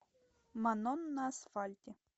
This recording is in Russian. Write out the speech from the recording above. манон на асфальте